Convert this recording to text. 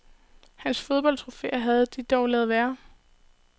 Hans fodboldtrofæer havde de dog ladet være.